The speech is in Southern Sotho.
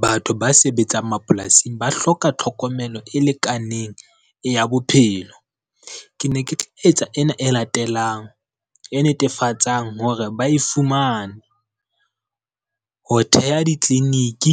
Batho ba sebetsang mapolasing ba hloka tlhokomelo e lekaneng ya bophelo. Ke ne ke tla etsa ena e latelang e netefatsang hore ba e fumane. Ho theha ditleliniki